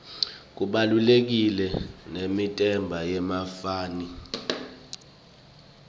kubaluleka nemdebenti yemaphaphy